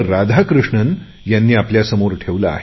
राधाकृष्णजी यांनी आपल्यासमोर ठेवले आहे